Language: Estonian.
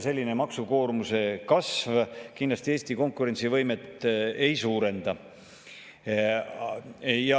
Selline maksukoormuse kasv Eesti konkurentsivõimet kindlasti ei suurenda.